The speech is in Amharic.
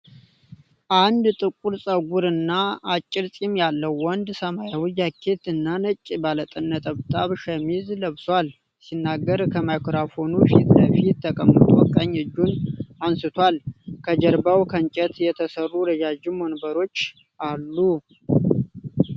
አንድ ጥቁር ፀጉር እና አጭር ፂም ያለው ወንድ ሰማያዊ ጃኬት እና ነጭ ባለነጠብጣብ ሸሚዝ ለብሷል። ሲናገር ከማይክሮፎን ፊት ለፊት ተቀምጦ ቀኝ እጁን አነሳስቷል። ከጀርባው ከእንጨት የተሠሩ ረዣዥም ወንበሮች አሉ።